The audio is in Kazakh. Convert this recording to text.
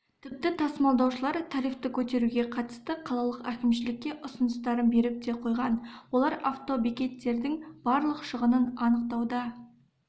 тіпті тасымалдаушылар тарифті көтеруге қатысты қалалық әкімшілікке ұсыныстарын беріп те қойған олар автобекеттердің барлық шығынын анықтауда